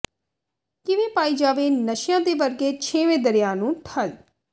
ਕਿਵੇਂ ਪਾਈ ਜਾਵੇ ਨਸ਼ਿਆਂ ਦੇ ਵਗਦੇ ਛੇਵੇਂ ਦਰਿਆ ਨੂੰ ਠੱਲ੍ਹ